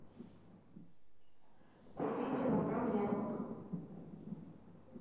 купи килограмм яблок